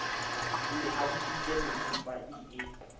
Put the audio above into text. ne a bitsitse mmantsopa ie